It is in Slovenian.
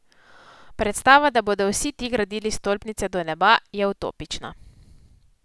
Predstava, da bodo vsi ti gradili stolpnice do neba, je utopična.